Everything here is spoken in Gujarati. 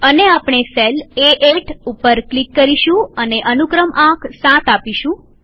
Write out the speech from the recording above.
અને આપણે સેલ એ8 ઉપર ક્લિક કરીશું અને અનુક્રમ આંક 7 આપીશું